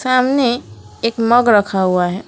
सामने एक मग रखा हुआ है।